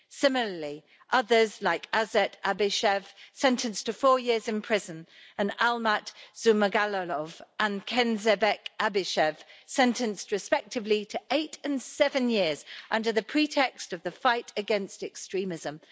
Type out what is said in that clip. Similarly, others, like Aset Abishev, sentenced to four years in prison, and Almat Zhumagulov and Kenzhebek Abishev, sentenced respectively to eight and seven years, are punished under the pretext of the fight against extremism.